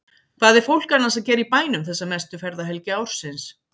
Hvað er fólk annars að gera í bænum þessa mestu ferðahelgi ársins?